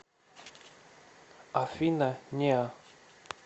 афина неа